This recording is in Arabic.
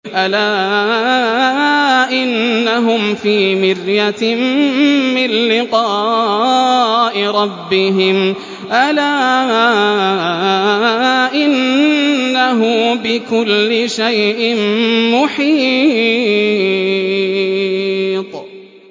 أَلَا إِنَّهُمْ فِي مِرْيَةٍ مِّن لِّقَاءِ رَبِّهِمْ ۗ أَلَا إِنَّهُ بِكُلِّ شَيْءٍ مُّحِيطٌ